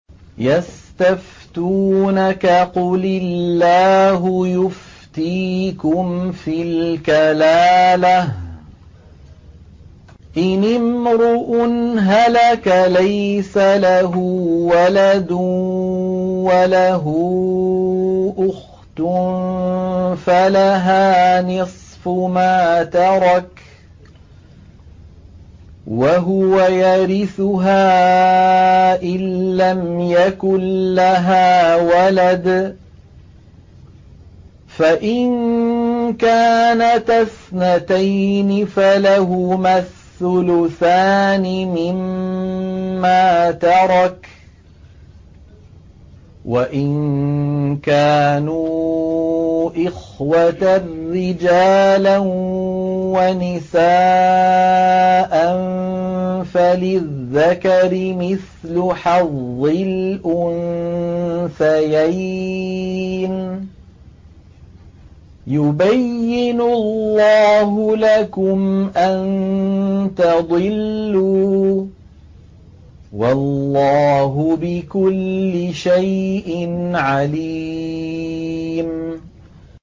يَسْتَفْتُونَكَ قُلِ اللَّهُ يُفْتِيكُمْ فِي الْكَلَالَةِ ۚ إِنِ امْرُؤٌ هَلَكَ لَيْسَ لَهُ وَلَدٌ وَلَهُ أُخْتٌ فَلَهَا نِصْفُ مَا تَرَكَ ۚ وَهُوَ يَرِثُهَا إِن لَّمْ يَكُن لَّهَا وَلَدٌ ۚ فَإِن كَانَتَا اثْنَتَيْنِ فَلَهُمَا الثُّلُثَانِ مِمَّا تَرَكَ ۚ وَإِن كَانُوا إِخْوَةً رِّجَالًا وَنِسَاءً فَلِلذَّكَرِ مِثْلُ حَظِّ الْأُنثَيَيْنِ ۗ يُبَيِّنُ اللَّهُ لَكُمْ أَن تَضِلُّوا ۗ وَاللَّهُ بِكُلِّ شَيْءٍ عَلِيمٌ